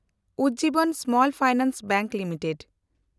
Ujjivan small finance bank limited